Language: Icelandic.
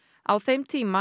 á þeim tíma